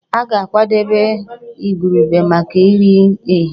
A ga-akwadebe igurube maka nri ehihie